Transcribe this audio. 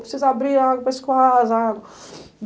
Precisa abrir água para escoar as águas.